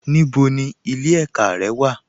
Níbo ni ilẹ̀ ẹ̀kà rẹ wà?